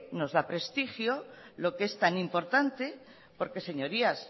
nos da prestigio lo que es tan importante porque señorías